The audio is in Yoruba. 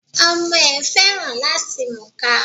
Ọmọ ẹ̀ féràn làti múka.